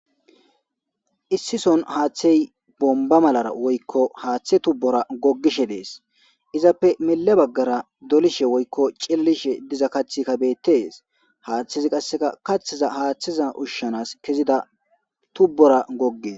Issison haaththey bomba malara woykko haaththe tubbora gogishe dees izappe mile baggara dolishe woykko cillishe diza kacthi kabettees haaththizi qasseka kathiza haaththiza ushshanas kezida tubbora gogges.